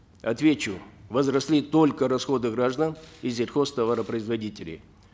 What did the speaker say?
отвечу возросли только расходы граждан и сельхозтоваропроизводителей